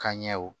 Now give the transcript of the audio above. Ka ɲɛw